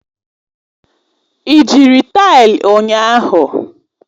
Ị jiri taịlị ụnyahụ?